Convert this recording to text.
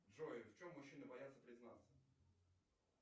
джой в чем мужчины боятся признаться